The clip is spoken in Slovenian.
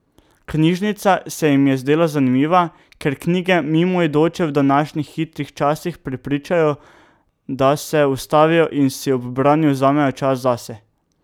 Knjižnica se jim je zdela zanimiva, ker knjige mimoidoče v današnjih hitrih časih prepričajo, da se ustavijo in si ob branju vzamejo čas zase.